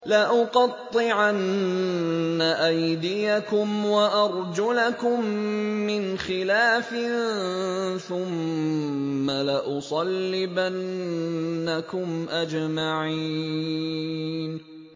لَأُقَطِّعَنَّ أَيْدِيَكُمْ وَأَرْجُلَكُم مِّنْ خِلَافٍ ثُمَّ لَأُصَلِّبَنَّكُمْ أَجْمَعِينَ